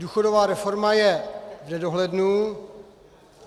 Důchodová reforma je v nedohlednu.